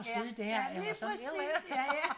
Ja ja lige præcis ja ja